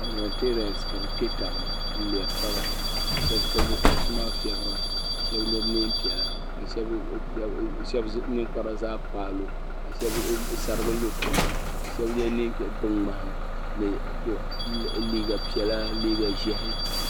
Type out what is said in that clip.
Palimentariyens ka bi kpe tabi ni n ŋmeri taba ka shaba kpuɣi bi kuɣusi maa fiɛbira ka shaba yɛ niɛn piɛlla ka shaba ninkpara zaa kpaayi lu ka shaba sarigi lu tiŋa ka shaba yɛ binŋmahi ni liiga piɛlla liiga ʒiɛhi.